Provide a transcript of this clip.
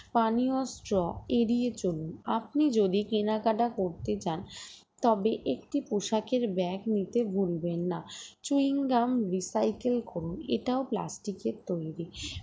পানিয় straw এড়িয়ে চলুন আপনি যদি কেনাকাটা করতে চান তবে একটি পোশাকের bag নিতে ভুলবেন না চুইংগাম recycle করুন এটাও plastic এর তৈরি